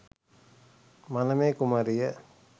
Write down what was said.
මනමේ කුමරිය